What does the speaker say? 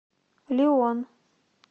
лион